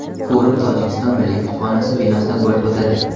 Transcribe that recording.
Forum Tojikiston milliy kutubxonasi binosida bo‘lib o‘tadi.